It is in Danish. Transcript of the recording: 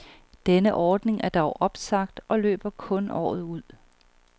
Denne ordning er dog opsagt og løber kun året ud.